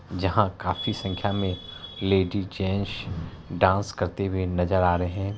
जहाँ काफी संख्या में लेडिज जेन्ट्स डांस करते हुए नजर आ रहे हैं।